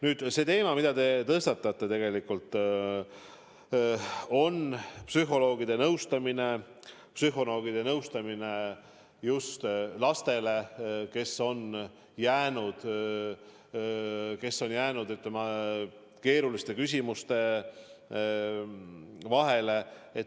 Nüüd, see teema, mille te tõstatasite: psühholoogiline nõustamine, psühholoogilise nõu andmne just lastele, kes on sattunud keerulisse olukorda.